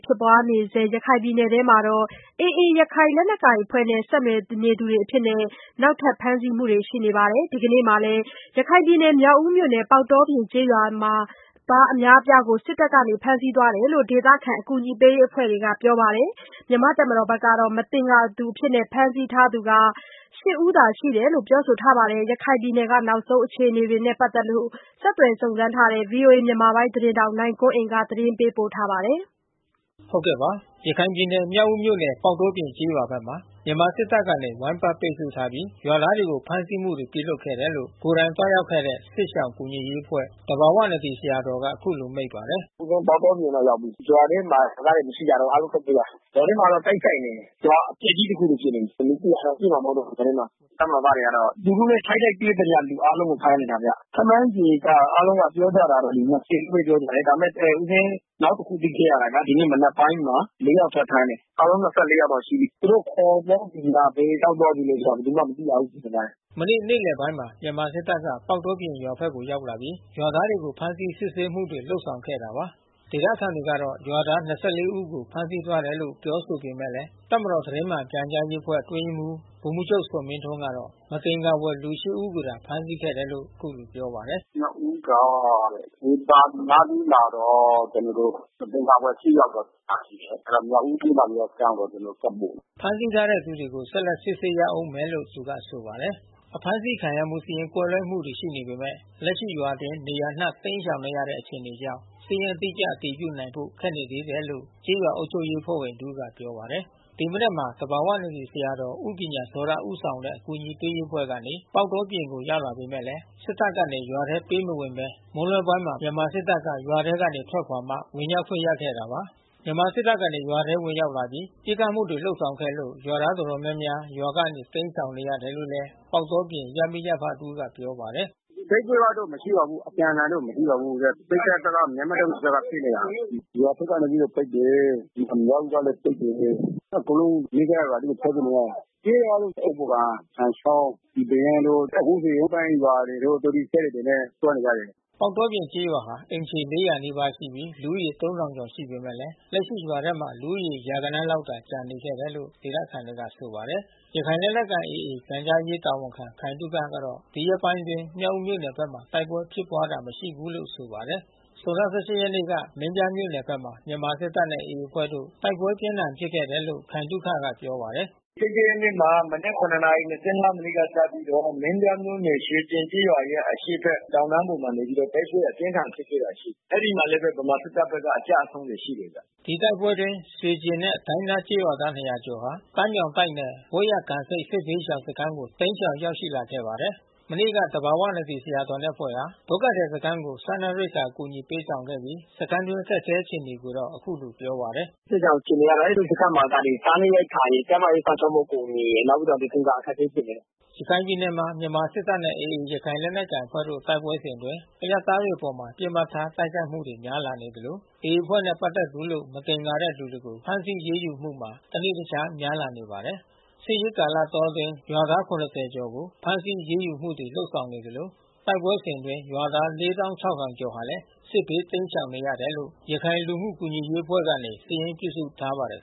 ဖြစ်ပွားနေဆဲ ရခိုင်ပြည်နယ်အတွင်းမှာ AA ရခိုင်လက်နက်ကိုင်အဖွဲ့နဲ့ ဆက်နွယ်နေသူတွေအဖြစ် နောက်ထပ် ဖမ်းဆီးမှုတွေ ရှိနေပါတယ်။ ဒီကနေ့မှာလည်း မြောက်ဦးမြို့နယ် ပေါက်တောပြင် ကျေးရွာသား အများအပြားကို စစ်တပ်က ဖမ်းဆီးသွားကြောင်း ဒေသခံ အကူအညီပေးရေး အဖွဲ့တာဝန်ရှိသူတွေက ပြောပါတယ်။ မြန်မာ့တပ်မတော်ဘက်ကတော့ မသင်္ကာသူအဖြစ် ဖမ်းဆီးထားသူ ရှစ် ဦးသာ ရှိကြောင်း ပြောဆိုခဲ့တာပါ။ ရခိုင်ပြည်နယ်က နောက်ဆုံး အခြေအနေနဲ့ ပတ်သက်လို့ ဆက်သွယ်စုံစမ်းထားတဲ့ ဗွီအိုအေမြန်မာပိုင်း သတင်းထောက် နိုင်ကွန်းအိန်ကနေ သတင်းပေးပို့ ထားပါတယ်။ ရခိုင်ပြည်နယ် မြောက်ဦးမြို့နယ် ပေါက်တောပြင်ကျေးရွာဘက်မှာ မြန်မာစစ်တပ်တွေကနေ ဝိုင်းပတ်ပိတ်ဆို့ထားပြီး ရွာသားတွေကို ဖမ်းဆီးမှုတွေ ပြုလုပ်ခဲ့တယ်လို့ ကိုယ်တိုင်သွားရောက်ခဲ့တဲ့ စစ်ရှောင်ကူညီရေးအဖွဲ့ သဘာဝနဒီ ဆရာတော်က အခုလို မိန့်ပါတယ်။ “ဦးဇင်းပေါက်တောပြင်ကို ရောက်ပြီ။ ရွာထဲမှာရွာသားတွေ မရှိကြတော့ဘူး။ အားလုံးထွက်ပြေးတာ။ ရွာထဲမှာတော့ တိတ်ဆိတ်နေတယ်။ ရွာအပျက်ကြီး တခုလိုဖြစ်နေပြီး။ လူ ၁၀၀ တောင်ရှိမှာ မဟုတ်တော့ဘူး ရွာထဲမှာ။ တပ်မတော် သားတွေကတော့ သူတို့နဲ့ ထိပ်တိုက်တွေ့သမျှ လူအားလုံးကို ဖမ်းနေတာဗျ။ ခန့်မှန်းချေက အားလုံးကပြောကြတာတော့ ၂၀ ချည်းပဲ ပြောပါတယ်။ ဒါပေမဲ့ ဦးဇင်း နောက်တခု သိခဲ့ရတာက ဒီနေ့မနက်ပိုင်းမှာ လေးယောက် ထပ်ဖမ်းတယ်။ အားလုံး ၂၄ ယောက်တော့ ရှိပြီ။ သူတို့ခေါ်သွားတယ်ဆိုမှာ ဘယ်ရောက်သွားပြီး ဘယ်သူမှ မသိကြဘူး ဒကာကြီး။” မနေ့ နေ့လယ်ပိုင်းမှာ မြန်မာစစ်တပ်က ပေါက်တောပြင်ရွာဘက်ကို ရောက်လာပြီး ရွာသားတွေကို ဖမ်းဆီးစစ်ဆေးမှုတွေ လုပ်ဆောင်ခဲ့တာပါ။ ဒေသခံတွေကတော့ ရွာသား ၂၄ ဦးကို ဖမ်းဆီးသွားတယ်လို့ ပြောဆိုနေပေမဲ့ တပ်မတော်သတင်းမှန်ပြန်ကြားရေးအဖွဲ့ အတွင်းရေးမှူး ဗိုလ်မှူးချုပ်ဇော်မင်းထွန်းကတော့ မသင်္ကာဘွယ်လူ ရှစ်ဦးကိုသာ ဖမ်းဆီးခဲ့တယ်လို့ အခုလိုပြောပါတယ်။ “မြောက်ဦးက ဝေသာလီနားလေးမှာတော့ ကျနော်တို့ မသင်္ကာဘွယ် ရှစ်ယောက်တော့ ဖမ်းဆီးတယ်။ အဲတာ မြောက်ဦးမြို့မ ရဲစခန်းကိုဆက်ပို့တယ်။" ဖမ်းဆီးထားတဲ့ သူကို ဆက်လက်စစ်ဆေးရဦးမယ်လို့ သူက ဆိုပါတယ်။ အဖမ်းဆီးခံရမှု စာရင်းကွဲလွဲမှုတွေ ရှိနေပေမဲ့ လက်ရှိရွာအတွင်း နေရာအနှံ့တိမ်းရှောင်နေတဲ့ အခြေအနေကြောင့် စာရင်းအတိအကျ အတည်ပြုနိုင်ဖို့ ခက်နေသေးတယ်လို့ ကျေးရွာအုပ်ချုပ်ရေးအဖွဲ့ဝင် တဦး ပြောပါတယ်။ ဒီမနက်မှာ သဘာဝနဒီဆရာတော်ဦးပညာဇောတ ဦးဆောင်တဲ့ အကူညီပေးရေးအဖွဲ့ကနေ ပေါက်တောပြင်ကို ရောက်လာပေမဲ့ စစ်တပ်ကနေရွာထဲ ဝင်ခွင့်မပေးဘဲ မွန်းလွဲပိုင်းမှာမြန်မာစစ်တပ်က ရွာထဲကနေထွက်ခွါမှ ဝင်ရောက် ခွင့်ရခဲ့တာပါ။ မြန်မာစစ်တပ်ကနေ ရွာထဲဝင်ရောက်လာပြီး ပစ်ခတ်မှုတွေ လုပ်ဆောင်ခဲ့လို့ ရွာသားအတော်များများ ရွာကနေ တိမ်းရှောင်နေရတယ်လို့ ပေါက်တောပြင် ရပ်မိရပ်ဖတဦးက ပြောပါတယ်။ “တိုက်ပွဲကတော့ မရှိပါဘူး။ အပြန်အလှန်တော့ မရှိပါဘူး။ စစ်တပ်ဘက်က မြန်မာ့တပ်မတော်ဘက်က ပစ်နေတာ။ ရွာထဲက နေပြီးတော့ပစ်တယ်။ မြောက်ဦးဘက်ကနေပြီးတော့ ပစ်တယ်။ အကုန်လုံးနီးစပ်ရာ ထွက်ပြေးနေရတာ။ ပြေးတာက အုတ်ဖို၊ ကန်၊ သံချောင်း၊ ပီပေရင်းတို့ အခုဆိုရင် အောက်ပိုင်းရွာတို့ သူတို့စက်လှေနဲ့ သွားနေကြတယ်။” ပေါက်တောပြင်ကျေးရွာဟာ အိမ်ခြေ ၄၀၀ နီးပါးရှိပြီ လူဦးရေ ၃,၀၀၀ ကျော်ရှိနေပေမဲ့ လက်ရှိရွာထဲ လူဦးရေ ရာဂဏန်းလောက်သာ ကျန်ရှိနေတယ်လို့ ဒေသခံတွေက ဆိုပါတယ်။ ရခိုင်လက်နက်ကိုင် AA ပြန်ကြားရေးတာဝန်ခံ ခိုင်သုခကတော့ ဒီရက်ပိုင်းအတွင်းမြောက်ဦးမြို့နယ်ဘက်မှာ တိုက်ပွဲဖြစ်ပွားခဲ့တာ မရှိဘူးလို့ ဆိုပါတယ်။ ဇွန်လ ၁၈ ရက်နေ့က မင်းပြားမြို့နယ်ဘက်မှာ မြန်မာစစ်တပ်နဲ့ AA အဖွဲ့တို့ တိုက်ပွဲပြင်းထန်ဖြစ်ခဲ့တယ်လို့ ခိုင်သုခက ပြောပါတယ်။ “၁၈ ရက်နေ့မှာ မနက် ၇ နာရီ ၂၅ မိနစ်ကစပြီးတော့ မင်းပြားမြို့နယ်ရဲ့ရွှေကျင်ကျေးရွာရဲ့ အရှေ့ဘက် တောင်တန်းပေါ် မှာ နေပြီးတော့ တိုက်ပွဲအပြင်းအထန် ဖြစ်ခဲ့တာရှိတယ်။ အဲဒီမှာလည်းပဲ ဗမာစစ်တပ်တွေ အကျဆုံးတွေ ရှိတယ်ဗျ။” ဒီတိုက်ပွဲအတွင်း ရွှေကျင်နဲ့ ဒိုင်းသားကျေးရွာသား ၂၀၀ ကျော်ဟာ ပန်းမြောင်တိုက်နယ် ပွဲ့ရကံဆိတ် စစ်ဘေးရှောင်စခန်းကို တိမ်းရှောင်ရောက်ရှိလာခဲ့ပါတယ်။ မနေ့က သဘာဝနဒီဆရာတော်နဲ့ အဖွဲ့ဟာ ဒုက္ခသည်စခန်းကို စားနပ်ရိက္ခာ အကူညီပေးဆောင်ခဲ့ပြီး စခန်းအတွင်း အခက်အခဲ အခြေအနေကိုတော့ အခုလိုပြောပါတယ်။ “စစ်ရှောင်အခြေအနေက အဲဒီစခန်းမှာက စားနပ်ရိက္ခာရယ်၊ ကျန်းမာရေးစောင့်ရှောက်မှုအကူအညီရယ် နောက်ပြီးတော့ အိမ်သာအခက်ခဲဖြစ်တယ်။” ရခိုင်ပြည်နယ်မှာ မြန်မာစစ်တပ်နဲ့ AA ရခိုင်လက်နက်ကိုင်အဖွဲ့တို့ တိုက်ပွဲစဉ်အတွင်း အရပ်သားတွေအပေါ် ပစ်မှတ်ထား တိုက်ခိုက်မှုတွေ များလာနေသလို AA အဖွဲ့နဲ့ ပတ်သက်သူလို့ မသင်္ကာတဲ့သူတွေကို ဖမ်းဆီးအရေးယူမှုဟာ တနေ့ တခြားများလာနေပါတယ်။ စစ်ရေးကာလတောအတွင်း ရွာသား ၇၀ ကျော်ကို ဖမ်းဆီးအရေးယူမှုတွေ လုပ်ဆောင်နေသလို တိုက်ပွဲစဉ်အတွင်း ရွာသား ၄၆,၀၀၀ ကျော်ဟာလည်း စစ်ဘေးတိမ်းရှောင်နေရတယ်လို့ ရခိုင်လူမှုကူညီရေးအဖွဲ့ကနေ စာရင်းပြုစုထားပါတယ်